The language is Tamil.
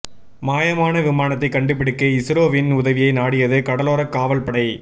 மாயமான விமானத்தைக் கண்டுபிடிக்க இஸ்ரோவின் உதவியை நாடியது கடலோரக் காவல் படை